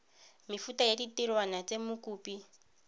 mefuta ya ditirwana tse mokopi